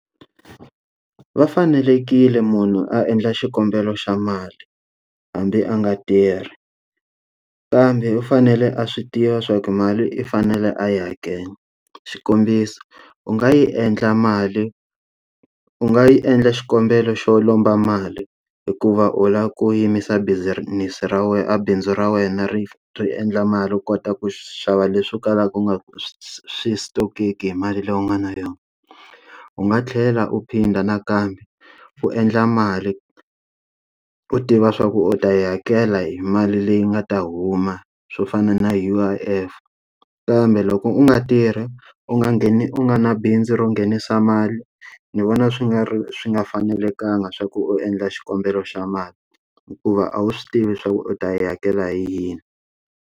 Va fanekerile munhu a endla xikombelo xa mali hambi a nga tirhi, kambe u fanele a swi tiva swa ku mali i fanele a yi hakela. Xikombiso, u nga yi endla mali u nga yi endla xikombelo xo lomba mali hikuva u lava ku yimisa business ra wena a bindzu ra wena ri ri endla mali u kota ku xava leswi kalaku u nga swi stock-eki hi mali leyi u nga na yona. U nga tlhela u phinda nakambe, u endla mali u tiva swa ku u ta yi hakela hi mali leyi nga ta huma swo fana na U_I_F. Kambe loko u nga tirhi, u nga gheni u nga na bindzu ro nghenisa mali, ni vona swi nga swi nga fanekelanga swa ku u endla xikombelo xa mali, hikuva a wu swi tivi swa ku u ta yi hakela hi yini.